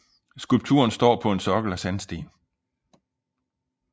Skulpturen står på en sokkel af sandsten